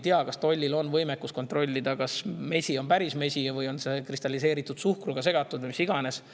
Ma ei tea, kas tollil on võimekus kontrollida, kas mesi on päris mesi või on see kristalliseeritud suhkruga segatud või mis iganes.